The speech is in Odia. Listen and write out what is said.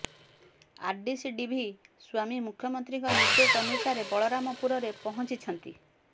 ଆରଡିସି ଡି ଭି ସ୍ୱାମୀ ମୁଖ୍ୟମନ୍ତ୍ରୀଙ୍କ ନିର୍ଦ୍ଦେଶ ଅନୁସାରେ ବଳରାମପୁରରେ ପହଚିଂଛନ୍ତି